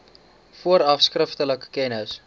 vooraf skriftelik kennis